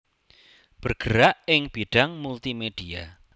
bergerak ing bidang Multimedia